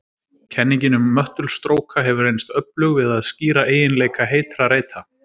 Kenningin um möttulstróka hefur reynst öflug við að skýra eiginleika heitra reita.